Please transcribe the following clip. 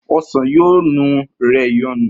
osan yoo nu rẹ Ìyọnu.